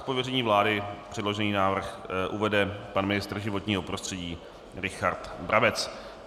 Z pověření vlády předložený návrh uvede pan ministr životního prostředí Richard Brabec.